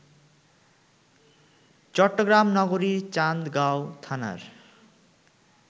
চট্টগ্রাম নগরীর চান্দগাঁও থানার